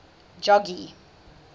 jogee